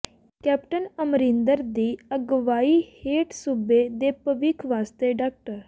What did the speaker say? captain Amarinder ਦੀ ਅਗਵਾਈ ਹੇਠ ਸੂਬੇ ਦੇ ਭਵਿੱਖ ਵਾਸਤੇ ਡਾ